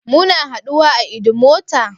Muna haduwa a Idumota?